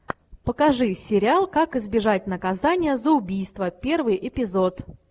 покажи сериал как избежать наказания за убийство первый эпизод